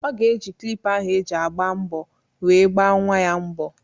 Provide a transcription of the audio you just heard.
Ọ ga-eji klippa ahụ eji agba mbọ were gbaa nnwa ya mbọ.